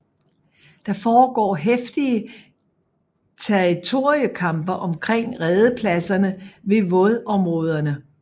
Der foregår heftige territoriekampe omkring redepladserne ved vådområderne